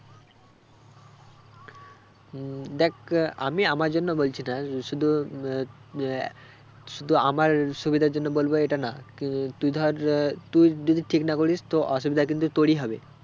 উম দেখ আহ আমি আমার জন্য বলছি না শুধু উম আহ আহ শুধু আমার সুবিধার জন্য বলবো এ টা না তুই ধর আহ তুই যদি ঠিক না করিস তো অসুবিধা কিন্তু তোরই হবে